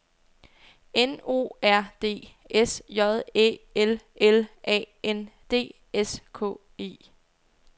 N O R D S J Æ L L A N D S K E